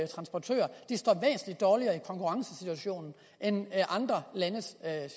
transportører står væsentlig dårligere i konkurrencesituationen end andre landes